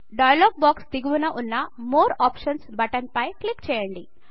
dialogue box దిగువన వున్న more options button పై క్లిక్ చేయండి